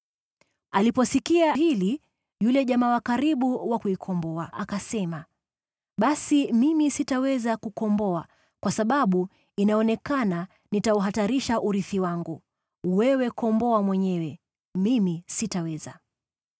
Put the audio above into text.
Aliposikia hili, yule jamaa wa karibu wa kukomboa akasema, “Basi mimi sitaweza kuikomboa, kwa sababu inaonekana nitauhatarisha urithi wangu. Wewe ikomboe mwenyewe. Mimi sitaweza.”